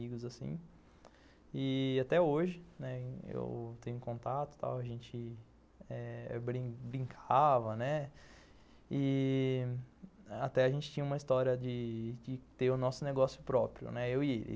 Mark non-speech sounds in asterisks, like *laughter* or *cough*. *unintelligible* E até hoje, né, eu tenho contato, a gente brincava, né, e até a gente tinha uma história de ter o nosso negócio próprio, né, eu e ele.